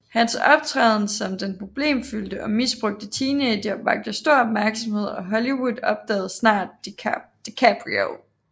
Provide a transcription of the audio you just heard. Hans optræden som den problemfyldte og misbrugte teenager vakte stor opmærksomhed og Hollywood opdagede snart DiCaprio